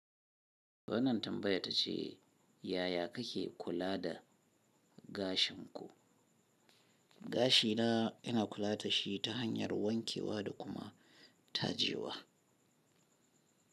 Wannan tambaya ta ce, yaya kake kula da gashin ku? Gashi na ina kula da shi ta hanyar wankewa da kuma tajewa.